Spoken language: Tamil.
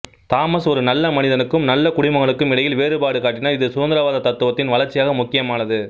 தாமஸ் ஒரு நல்ல மனிதனுக்கும் நல்ல குடிமகனுக்கும் இடையில் வேறுபாடு காட்டினார் இது சுதந்திரவாத தத்துவத்தின் வளர்ச்சிக்காக முக்கியமானது